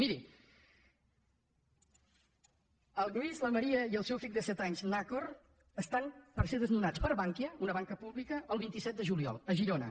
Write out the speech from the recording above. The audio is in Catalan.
mirin el lluís la maria i el seu fill de set anys nakor estan a punt de ser desnonats per bankia una banca pública el vint set de juliol a girona